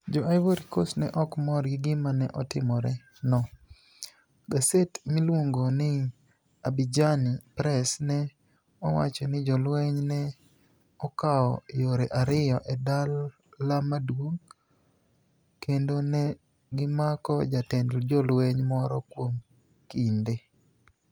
Jo - Ivory Coast ni e ok mor gi gima ni e otimoreno. Gaset miluonigo nii Abidjani Press ni e owacho nii jolweniy ni e okawo yore ariyo e dal maduonig kenido ni e gimako jatend jolweniy moro kuom kinide.